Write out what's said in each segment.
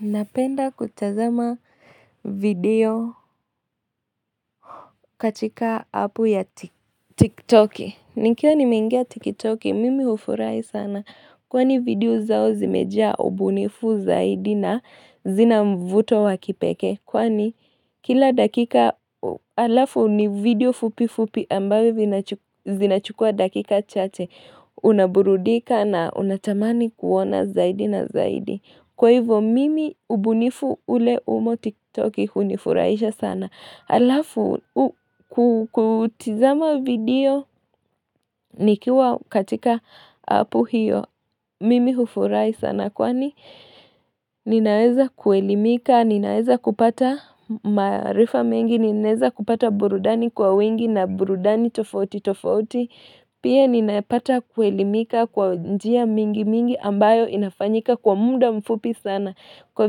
Napenda kutazama video katika appu ya TikToki nikiwa nimeingia TikToki mimi hufurahi sana Kwani video zao zimejaa ubunifu zaidi na zina mvuto wa kipekee Kwani kila dakika alafu ni video fupi fupi ambavyo zinachukua dakika chache Unaburudika na unatamani kuona zaidi na zaidi Kwa hivyo mimi ubunifu ule umo tiktoki hunifurahisha sana alafu kutizama video nikiwa katika appu hiyo Mimi hufurahi sana kwani ninaeza kuelimika Ninaeza kupata maarifa mengi ninaeza kupata burudani kwa wingi na burudani tofauti tofauti Pia ninapata kuelimika kwa njia mingi mingi ambayo inafanyika kwa muda mfupi sana Kwa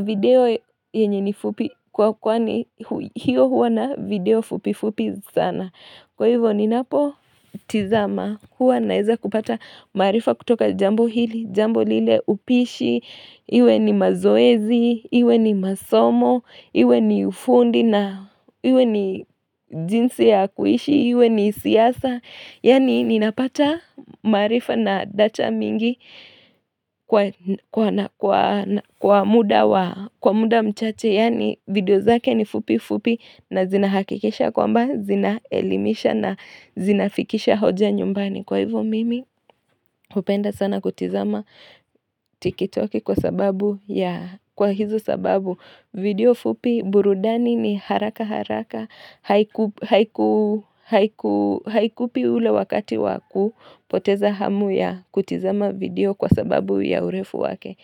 video yenye ni fupi kwa kwani hiyo huwa na video fupi fupi sana. Kwa hivyo ninapotizama huwa naeza kupata maarifa kutoka jambo hili, jambo lile upishi, iwe ni mazoezi, iwe ni masomo, iwe ni ufundi na iwe ni jinsi ya kuishi, iwe ni siasa. Yaani ninapata maarifa na data mingi kwa muda mchache Yani video zake ni fupi fupi na zinahakikisha kwamba zinaelimisha na zinafikisha hoja nyumbani Kwa hivyo mimi hupenda sana kutizama tikitoki kwa sababu ya kwa hizo sababu video fupi burudani ni haraka haraka haikupi ule wakati wakupoteza hamu ya kutizama video kwa sababu ya urefu wake.